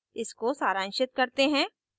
इसको सारांशित करते हैं